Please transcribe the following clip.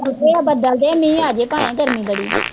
ਆ ਗਏ ਆ ਬੱਦਲ ਤੇ ਮੀਹ ਆਜੇ ਭਾਵੇ ਗਰਮੀ ਬੜੀ ਆ।